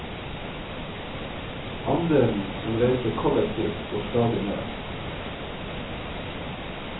Andelen som reiser kollektivt går stadig ned.